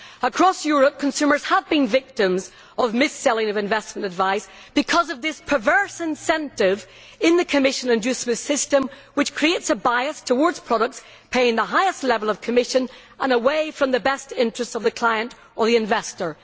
Across Europe, consumers have been victims of the mis selling of investment advice because of this perverse incentive in the commission inducement system which creates a bias towards products paying the highest level of commission and away from the best interests of the client or the investor.